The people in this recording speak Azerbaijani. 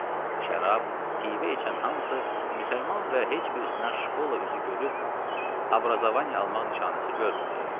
Şərab, pivə içən hamısı müsəlman və heç birisindən şkola üzü görüb abrazavani almaq nişanəsi görmürdü.